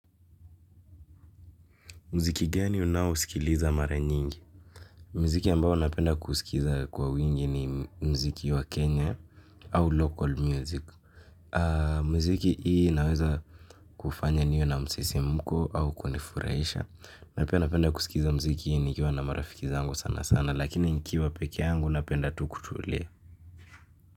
Muziki gani unao sikiliza mara nyingi? Muziki ambao napenda kusikiza kwa wingi ni muziki wa kenya au local music. Muziki hii inaweza kufanya niwe na msisimko au kunifurahisha. Napenda kusikiza mziki nikiwa na marafikiza zangu sana sana, lakini nikiwa peke yangu napenda tu kutulia.